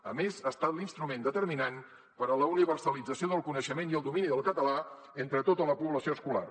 a més ha estat l’instrument determinant per a la universalització del coneixement i el domini del català entre tota la població escolar